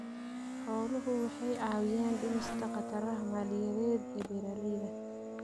Xooluhu waxay caawiyaan dhimista khataraha maaliyadeed ee beeralayda.